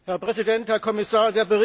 Herr Präsident, Herr Kommissar!